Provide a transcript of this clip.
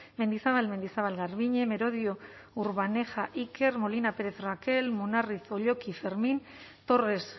mendizabal mendizabal garbiñe merodio urbaneja iker molina pérez rakel munarriz olloqui fermín torres